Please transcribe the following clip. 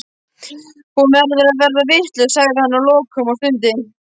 Hún verður alveg vitlaus, sagði hann að lokum og stundi.